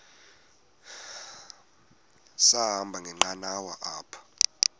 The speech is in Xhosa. sahamba ngenqanawa apha